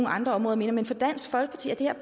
andre områder mere men for dansk folkeparti er